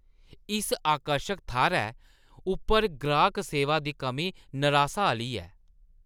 इस आकर्शक थाह्‌रै उप्पर गाह्क सेवा दी कमी नरासा आह्‌ली ऐ ।